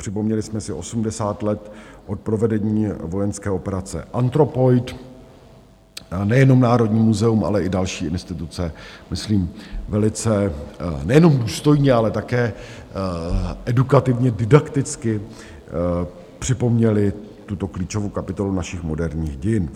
Připomněli jsme si 80 let od provedení vojenské operace Anthropoid, nejenom Národní muzeum, ale i další instituce myslím velice nejenom důstojně, ale také edukativně, didakticky připomněly tuto klíčovou kapitolu našich moderních dějin.